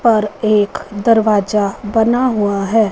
और एक दरवाजा बना हुआ है।